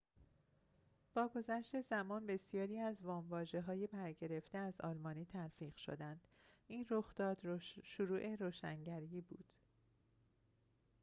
با گذشت زمان بسیاری از وام‌واژه‌های برگرفته از آلمانی تلفیق شدند این رخداد شروع روشنگری بود